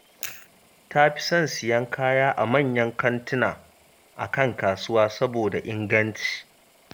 Ta fi son siyan kaya a manyan kantuna a kan kasuwa, saboda inganci